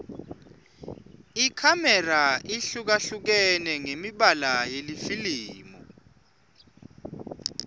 ikhamera ihlukahlukene ngemibala yelifilimu